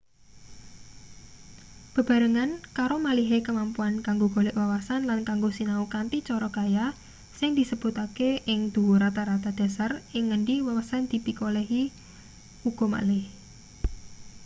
bebarengan karo malihe kemampuan kanggo golek wawasan lan kanggo sinau kanthi cara kaya sing disebutake ing dhuwur rata-rata dhasar ing ngendi wawasan dipikolehi uga malih